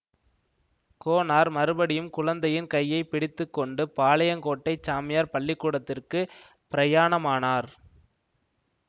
கோனார் மறுபடியும் குழந்தையின் கையை பிடித்து கொண்டு பாளையங்கோட்டை சாமியார் பள்ளிக்கூடத்திற்குப் பிரயாணமானார்